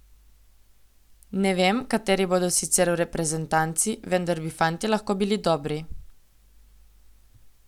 Ne vem, kateri bodo sicer v reprezentanci, vendar bi fantje lahko bili dobri.